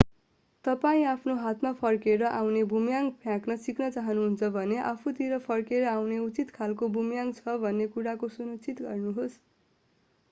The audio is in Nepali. तपाईं आफ्नो हातमा फर्केर आउने बुमर्‍याङ फ्याँक्न सिक्न चाहनुहुन्छ भने आफूतिर फर्केर आउने उचित खालको बुमर्‍याङ छ भन्ने कुराको सुनिश्चित गर्नुहोस्।